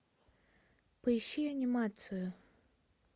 поищи анимацию